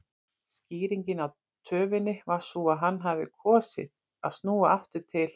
Skýringin á töfinni var sú að hann hafði kosið að snúa aftur til